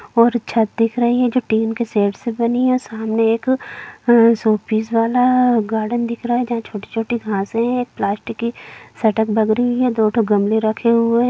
और छत दिख रही है जो टिन के शेड से बनी है सामने एक अ शोपीस वाला गार्डन दिख रहा है जहाँ छोटी-छोटी घासें है एक प्लास्टिक की सेटअप लग रही है दो ठो गमले रखे हुए हैं।